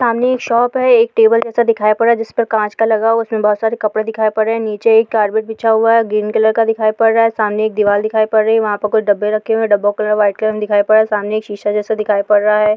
सामने एक शॉप है एक टेबल जैसा नीचे दिखाई पड़ रहा है जिस पर काँच का लगा हुआ है| उसमें बहुत सारे कपड़े पड़े हुए हैं| नीचे एक कार्पेट बिछा हुआ ग्रीन कलर का दिखाई पड़ रहा है| सामने एक दीवार दिखाई पड़ रही है वहाँ पे कुछ डिब्बे रखे हुए हैं| डब्बो का कलर व्हाइट है| सामने एक शीशा जैसा दिखाई पड़ रहा है।